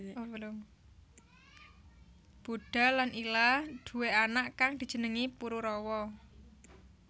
Budha lan Ila duwé anak kang dijenengi Pururawa